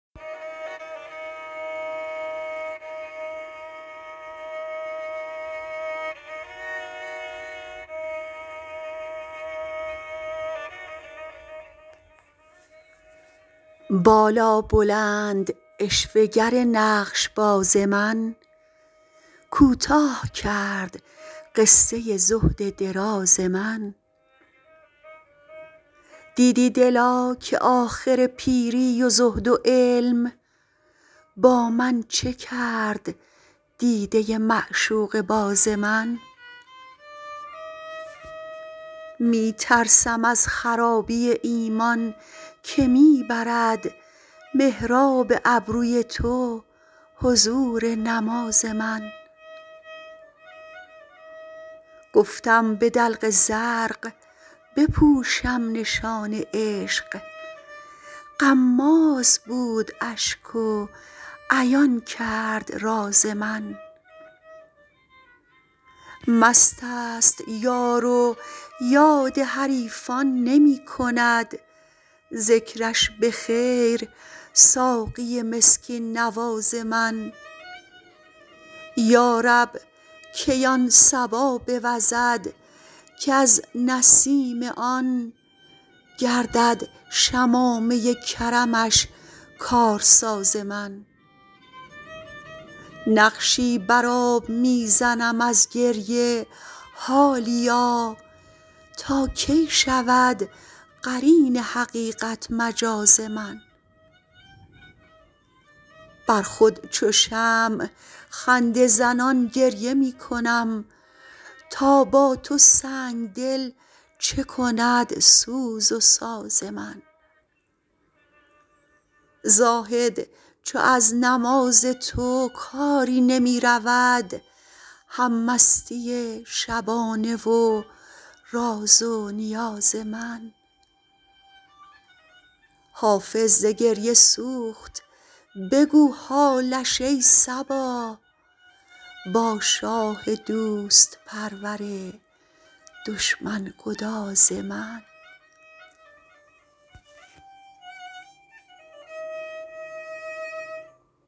بالابلند عشوه گر نقش باز من کوتاه کرد قصه زهد دراز من دیدی دلا که آخر پیری و زهد و علم با من چه کرد دیده معشوقه باز من می ترسم از خرابی ایمان که می برد محراب ابروی تو حضور نماز من گفتم به دلق زرق بپوشم نشان عشق غماز بود اشک و عیان کرد راز من مست است یار و یاد حریفان نمی کند ذکرش به خیر ساقی مسکین نواز من یا رب کی آن صبا بوزد کز نسیم آن گردد شمامه کرمش کارساز من نقشی بر آب می زنم از گریه حالیا تا کی شود قرین حقیقت مجاز من بر خود چو شمع خنده زنان گریه می کنم تا با تو سنگ دل چه کند سوز و ساز من زاهد چو از نماز تو کاری نمی رود هم مستی شبانه و راز و نیاز من حافظ ز گریه سوخت بگو حالش ای صبا با شاه دوست پرور دشمن گداز من